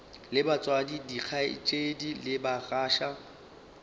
le batswadi dikgaetšedi le bagatša